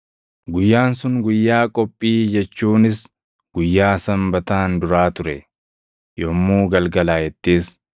Guyyaan sun Guyyaa Qophii jechuunis guyyaa Sanbataan duraa ture. Yommuu galgalaaʼettis,